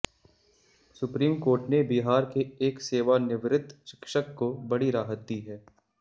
supreme court ने बिहार के एक सेवानिवृत्त शिक्षक को बड़ी राहत दी है